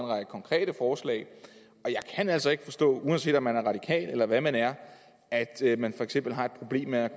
række konkrete forslag og jeg kan altså ikke forstå uanset om man er radikal eller hvad man er at man for eksempel har et problem med at